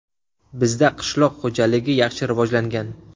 Bizda qishloq xo‘jaligi yaxshi rivojlangan.